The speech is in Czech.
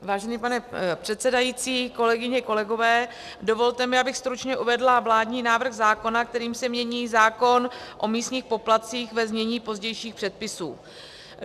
Vážený pane předsedající, kolegyně, kolegové, dovolte mi, abych stručně uvedla vládní návrh zákona, kterým se mění zákon o místních poplatcích, ve znění pozdějších předpisů.